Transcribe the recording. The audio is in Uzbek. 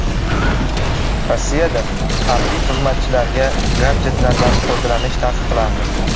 Rossiyada harbiy xizmatchilarga gadjetlardan foydalanish taqiqlandi.